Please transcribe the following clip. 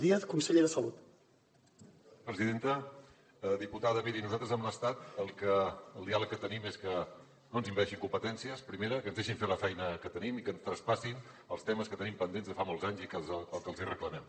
diputada miri nosaltres amb l’estat el diàleg que tenim és que no ens envaeixin competències primera que ens deixin fer la feina que tenim i que ens traspassin els temes que tenim pendents de fa molts anys i que és el que els hi reclamem